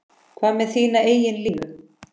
Hvað með þína eigin línu?